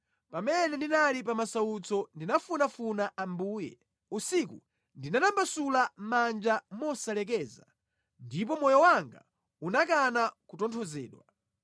Pamene ndinali pa masautso ndinafunafuna Ambuye; usiku ndinatambasula manja mosalekeza ndipo moyo wanga unakana kutonthozedwa.